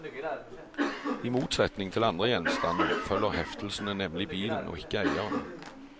I motsetning til andre gjenstander følger heftelsene nemlig bilen, og ikke eieren.